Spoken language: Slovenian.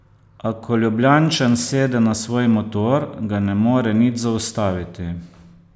A ko Ljubljančan sede na svoj motor, ga ne more nič zaustaviti.